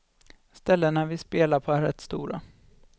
Ställena vi spelar på är rätt stora.